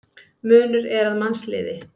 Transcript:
Munur er að mannsliði.